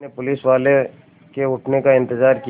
मैंने पुलिसवाले के उठने का इन्तज़ार किया